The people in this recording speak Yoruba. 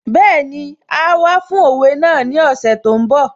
Bẹ́ẹ̀ni, áá wá fún òwe náà ní ọ̀sẹ̀ tó ń bọ̀